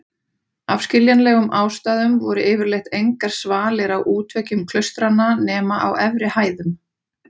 Af skiljanlegum ástæðum voru yfirleitt engar svalir á útveggjum klaustranna nema á efri hæðum.